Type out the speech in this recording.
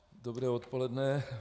Dobré odpoledne.